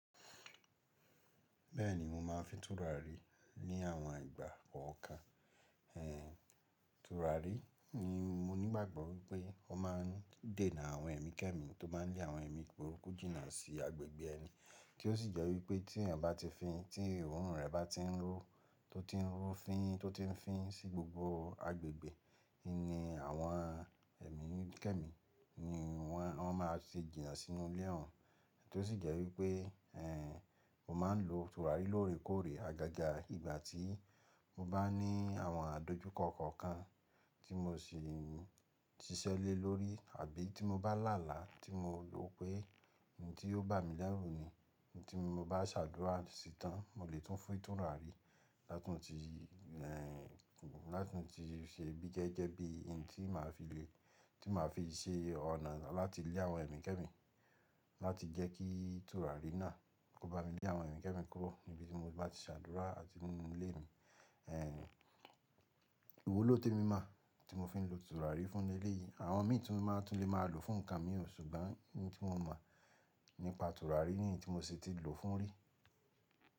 Bẹ́ẹ̀ni mo máa ń fi tùràrí ní àwọn ìgbà kọ̀ọ̀kan. Tùràrí ni mo nígbàgbọ́ wípé ó máa ń dènà àwọn ẹ̀mí kẹ́mi tó máa ń lé àwọn ẹ̀mí burúkú jìnnà sí agbègbè ẹni, kí ó sì jẹ́ wípé tí èèyàn bá ti fin, tí òórùn rẹ̀ bá ti ń ró, tó ti ń rú fin, tó ti ń fín sí gbogbo agbègbè, ni àwọn ẹ̀mí kẹ́mi ni wọ́n, wọ́n máa ṣe jìnnà sínú ilé òun. Kí ó sì jẹ́ wípé, mo máa ń lo tùràrí lóore kóòore, agaga ìgbà tí mo bá ní àwọn àdojúkọ kọ̀ọ̀kan tí mo sì siṣẹ́ lẹ̀ lórí àbí tí mo bá làálàá tí mo rò pé ohun tí yóò bà mí lẹ́rù ni. Ohun tí mo bá ṣàdúrà sí tán, mo lè tún fin túràrí láti mó ti, láti mó ti ṣe bíi jẹ́jẹ́ bí i ohun tí màá fi le, tí màá fi ṣe ọ̀nà láti lé àwọn ẹ̀mí kẹ́mi, láti jẹ́ kí tùràrí náà kó bá mi lé àwọn ẹ̀mí kẹ́mi kúrò níbi tí mo bá ti ṣàdúrà àti nínú ilé mi, ìwọ ló témi mọ tí mo fi ń lo tùràrí fún lè leyìí. Àwọn mí tùn máa tún lè máa lò ó fún nǹkan mi ò, ṣùgbọ́n ohun tí mo mọ̀ nípa tùràrí nìyí tí mo sì ti lò fún rí.